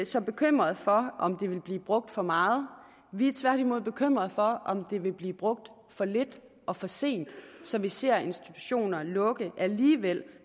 så bekymrede for om det vil blive brugt for meget vi er tværtimod bekymrede for om det vil blive brugt for lidt og for sent så vi ser institutioner lukke alligevel